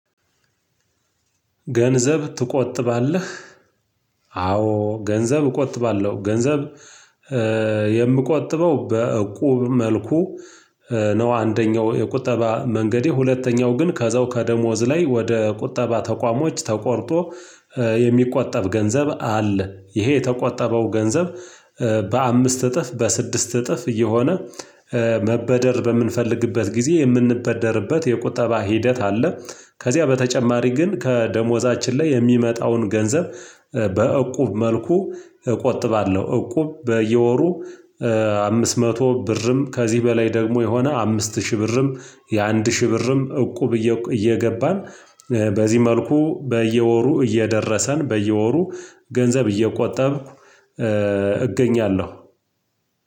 ገንዘብ ትቆጥባለህ? አዎ ገንዘብ እቆጥባለሁ ገንዘብ የምቆጥበው በእቁብ መልኩ ነው። አንደኛው የቁጠባ መንገዴ ሁለተኛው ግን ከዛው ከደሞዝ ላይ ወደ ቁጠባ ተቋሞች ተቆርጦ የሚቆጠብ ገንዘብ አለ ይሄ የተቆጠበው ገንዘብ በአምስት እጥፍ በስድስት እጥፍ እየሆነ መበደር በምንፈልግበት ጊዜ የምንበደርበት የቁጠባ ሂደት አለ። ከዚያ በተጨማሪ ግን ከደሞዛችን ላይ የሚመጣውን ገንዘብ በእቁብ መልኩ እቆጥባለሁ። እቁብ በየወሩ አምስት መቶ ብርም ከዚህ በላይ ደግሞ የሆነ አምስት ሺህ ብርም የአንድ ሺህ ብርም እቁብ እየገባን በዚህ መልኩ በየወሩ እየደረሰን በየወሩ ገንዘብ እየቆጠብኩ እገኛለሁ።